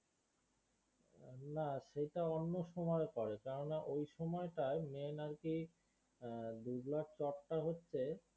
না সেটা অন্য সময় করে কেননা এই সময়টায় main আর কি হম দুবলার চড়টা হচ্ছে